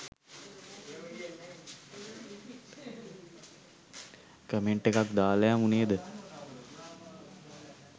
Comment එකක් දාලා යමු නේද?